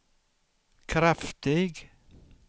kraftig